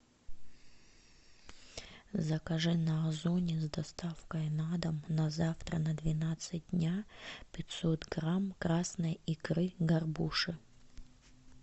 закажи на озоне с доставкой на дом на завтра на двенадцать дня пятьсот грамм красной икры горбуши